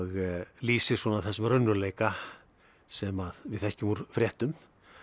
lýsir svona þessum raunveruleika sem við þekkjum úr fréttum